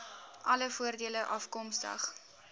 alle voordele afkomstig